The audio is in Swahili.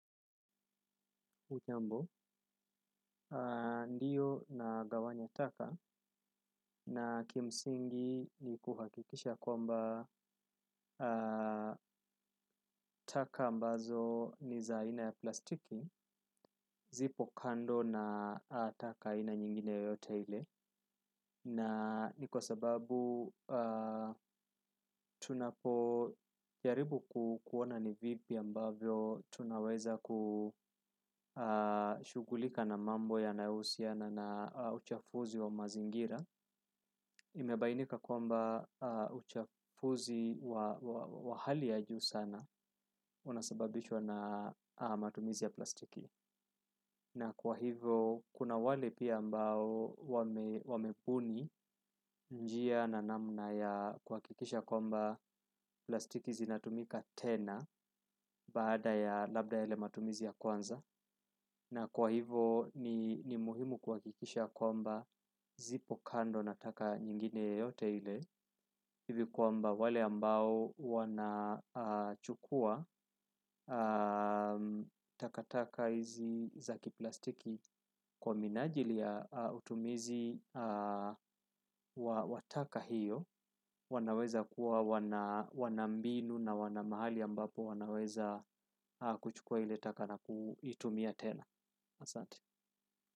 Hujambo, ndiyo nagawanya taka na kimsingi ni kuhakikisha kwamba taka ambazo ni za aina ya plastiki, zipo kando na taka aina nyingine yoyote ile. Na ni kwa sababu tunapo jaribu kuona ni vipi ambavyo tunaweza kushughulika na mambo yanayohusiana na uchafuzi wa mazingira inabainika kwamba uchafuzi wa hali ya juu sana unasabanishwa na matumizi ya plastiki na kwa hivo, kuna wale pia ambao wamebuni njia na namna ya kuhakikisha kwamba plastiki zinatumika tena baada ya labda yale matumizi ya kwanza. Na kwa hivo ni muhimu kuhakikisha kwamba zipo kando na taka nyingine yoyote ile hivi kwamba wale ambao wanachukua takataka hizi za kiplastiki kwa minajili ya utumizi wa taka hiyo wanaweza kuwa wana mbinu na wana mahali ambapo wanaweza kuchukua ile taka na kuitumia tena Asante.